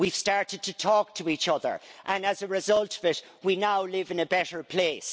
We've started to talk to each other, and as a result of it we now live in a better place.